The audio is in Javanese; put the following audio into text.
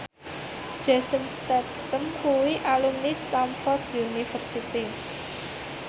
Jason Statham kuwi alumni Stamford University